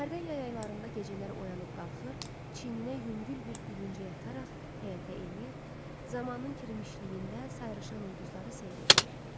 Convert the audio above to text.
Hərdən yay aylarında gecələr oyanıb qalxır, çiyninə yüngül bir bürüncək ataraq həyətə enir, zamanın kirmişliyində sayrışan ulduzları seyr eləyirdi.